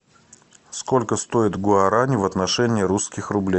сколько стоит гуарани в отношении русских рублей